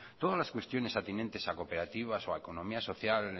todas las cuestiones a tenientes a cooperativas o a economía social